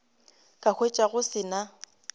ka hwetša go se na